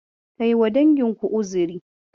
Kai wa dangin ku uzuri.